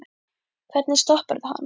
Hvernig stopparðu hann?